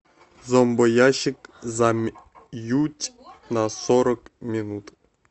зомбоящик замьють на сорок минут